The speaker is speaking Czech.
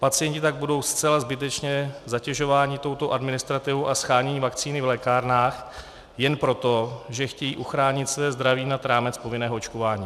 Pacienti tak budou zcela zbytečně zatěžováni touto administrativou a sháněním vakcíny v lékárnách jen proto, že chtějí uchránit své zdraví nad rámec povinného očkování.